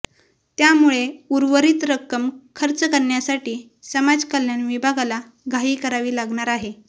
त्यामुळे उर्वरित रक्कम खर्च करण्यासाठी समाजकल्याण विभागाला घाई करावी लागणार आहे